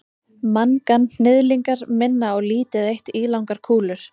manganhnyðlingar minna á lítið eitt ílangar kúlur